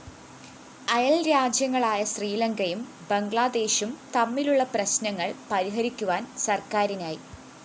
അയല്‍രാജ്യങ്ങളായ ശ്രീലങ്കയും ബംഗ്ലാദേശും തമ്മിലുള്ള പ്രശ്‌നങ്ങള്‍ പരിഹരിക്കുവാന്‍ സര്‍ക്കാരിനായി